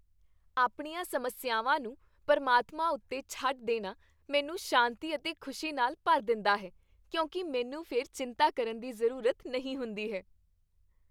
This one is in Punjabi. ਆਪਣੀਆਂ ਸਮੱਸਿਆਵਾਂ ਨੂੰ ਪ੍ਰਮਾਤਮਾ ਉੱਤੇ ਛੱਡ ਦੇਣਾ ਮੈਨੂੰ ਸ਼ਾਂਤੀ ਅਤੇ ਖ਼ੁਸ਼ੀ ਨਾਲ ਭਰ ਦਿੰਦਾ ਹੈ ਕਿਉਂਕਿ ਮੈਨੂੰ ਫਿਰ ਚਿੰਤਾ ਕਰਨ ਦੀ ਜ਼ਰੂਰਤ ਨਹੀਂ ਹੁੰਦੀ ਹੈ।